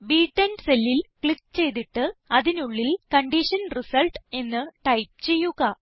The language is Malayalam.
ബ്10 സെല്ലിൽ ക്ലിക്ക് ചെയ്തിട്ട് അതിനുള്ളിൽ കണ്ടീഷൻ റിസൾട്ട് എന്ന് ടൈപ്പ് ചെയ്യുക